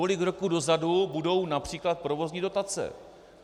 Kolik roků dozadu budou například provozní dotace?